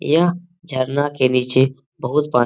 यह झरना के नीचे बहुत पान --